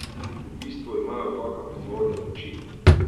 V bistvu imajo v rokah vzvode moči.